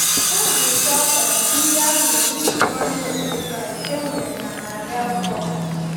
Nzukọ um ndị ahụ yiri nzukọ ndị otu Kraịst e nwere na narị afọ mbụ.